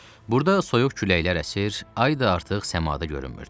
Burada soyuq küləklər əsir, ay da artıq səmada görünmürdü.